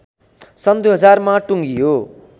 सन् २००० मा टुङ्गियो